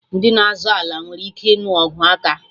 Ndị na-azọ ala nwere ike ịnụ ọgụ aka